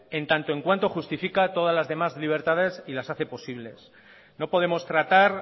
en tanto en cuanto justifica todas las demás libertades y las hace posible no podemos tratar